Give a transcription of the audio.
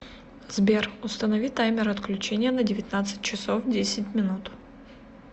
сбер установи таймер отключения на девятнадцать часов десять минут